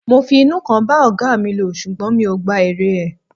Mo fi inú kan bá ọ̀gáa mi lò ṣùgbọ́n mi ò gba èrè ẹ̀.